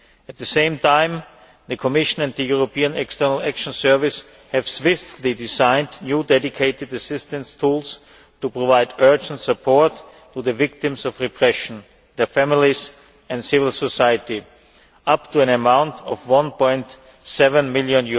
At the same time, the Commission and the European External Action Service have swiftly designed new dedicated assistance tools to provide urgent support to the victims of repression, their families and civil society, up to an amount of EUR 1.7 million.